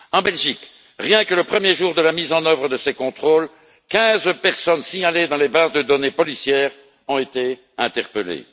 En Belgique, rien que le premier jour de la mise en œuvre de ces contrôles, quinze personnes signalées dans les bases de données policières ont été interpellées.